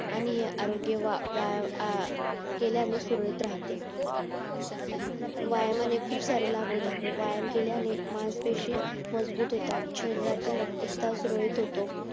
आणि आरोग्य व्यायाम केल्याने सुरळितराहते व्यायामाने खूप सारे लाभ होतात व्यायाम केल्याने मानसपेशी मजबूत होतात शरीरातील रक्तसात रोज होतो